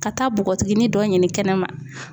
Ka taa bogotiginin dɔ ɲini kɛnɛma